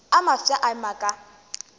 a mafsa a ema ka